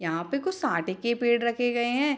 यहां पे कुछ साठे के पेड़ रखे गए है।